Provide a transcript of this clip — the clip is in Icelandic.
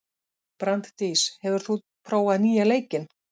Branddís, hefur þú prófað nýja leikinn?